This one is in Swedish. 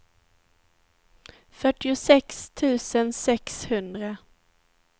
fyrtiosex tusen sexhundra